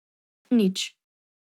Nič.